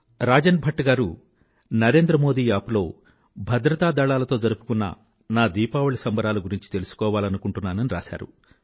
రాజన్ భట్ గారు నరేంద్ర మోదీ యాప్ లో భద్రతా దళాలతో జరుపుకున్న నా దీపావళి సంబరాల గురించి తెలుసుకోవాలనుకుంటున్నానని రాశారు